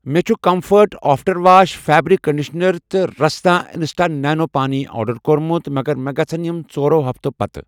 مےٚ چھ Comfort after wash fabric conditioner تہ رسنا اِنسٹا نیٖنٛبوٗ پانی آرڈر کوٚرمُت مگر مےٚ گژھَن یِم ژورو ہفتو پتہٕ